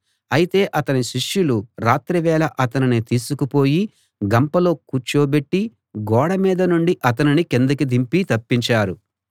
అయితే అతని శిష్యులు రాత్రివేళ అతనిని తీసుకుపోయి గంపలో కూర్చోబెట్టి గోడ మీద నుండి అతనిని కిందికి దింపి తప్పించారు